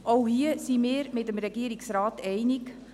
Auch hier sind wir mit dem Regierungsrat einig.